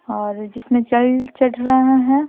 और जिसमें चल चट रहा है।